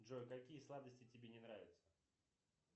джой какие сладости тебе не нравятся